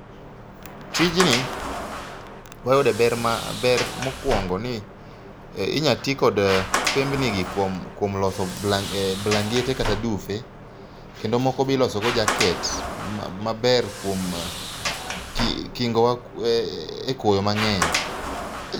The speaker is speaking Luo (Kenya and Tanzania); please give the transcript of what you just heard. Tijni wayude ber ma ber mokwongo ni inya ti kod kembni gi kuom kuom loso blan blangete kata dufe. Kendo moko biloso go jaket maber kuom kingo wa e koyo mang'eny.